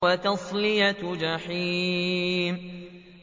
وَتَصْلِيَةُ جَحِيمٍ